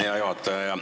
Hea juhataja!